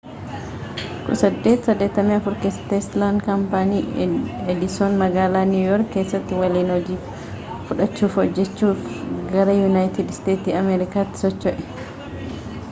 1884 keessatti teeslaan kaampaanii edison magaalaa niiw yoorki keessaa waliin hojii fudhachuun hojaachuf gara yunaayitid isteetsii amerikaatti socho'e